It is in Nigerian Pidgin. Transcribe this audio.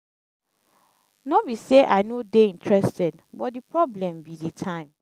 no be say i no dey interested but the problem be the time.